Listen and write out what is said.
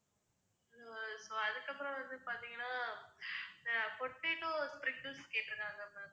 so அதுக்கப்புறம் வந்து பாத்தீங்கன்னா potato sprinkles கேட்டிருக்காங்க ma'am